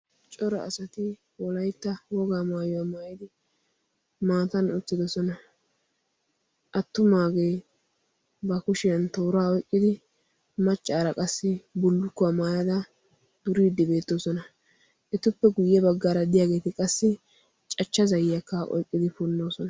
coro asati wolaitta wogaa maayuwaa maayidi maatan uttidosona attumaagee ba kushiyan tooraa oiqqidi maccaara qassi bullukkuwaa maayada duriiddi beettoosona etuppe guyye baggaara diyaageeti qassi cachcha zayyakka oiqqidi punnoosona